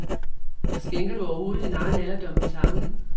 Skænker du overhovedet din egen alderdom en tanke?